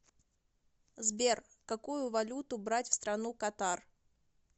сбер какую валюту брать в страну катар